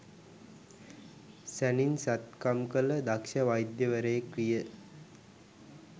සැණින් සැත්කම් කළ දක්‍ෂ වෛද්‍යවරයෙක් විය.